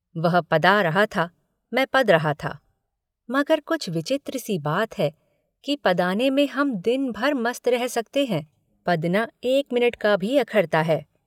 वह पदा रहा था मैं पद रहा था मगर कुछ विचित्र सी बात है कि पदाने में हम दिनभर मस्त रह सकते हैं पदना एक मिनिट का भी अखरता है।